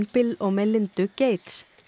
Bill og Melindu Gates